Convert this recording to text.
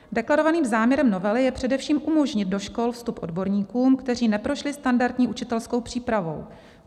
Deklarovaným záměrem novely je především umožnit do škol vstup odborníkům, kteří neprošli standardní učitelskou přípravou.